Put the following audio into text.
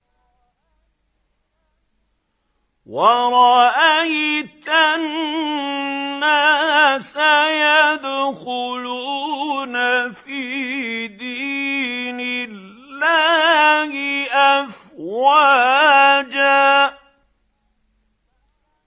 وَرَأَيْتَ النَّاسَ يَدْخُلُونَ فِي دِينِ اللَّهِ أَفْوَاجًا